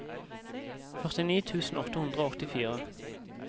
førtini tusen åtte hundre og åttifire